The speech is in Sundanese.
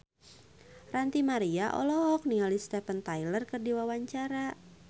Ranty Maria olohok ningali Steven Tyler keur diwawancara